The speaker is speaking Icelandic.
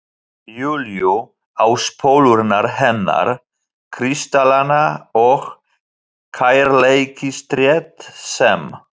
Júlíu, á spólurnar hennar, kristallana og kærleikstréð sem